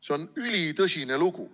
See on ülitõsine lugu.